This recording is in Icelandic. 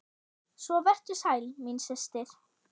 Svo vertu sæl, mín systir!